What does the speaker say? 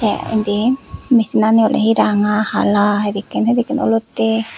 te indi misinani ole he ranga hala hedekken hedekken olotte.